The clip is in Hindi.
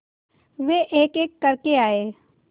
वे एकएक करके आए